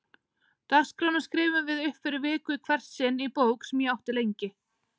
Dagskrána skrifuðum við upp fyrir viku í hvert sinn í bók sem ég átti lengi.